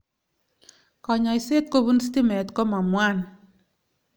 kanyaishet kopum stime kamwangwan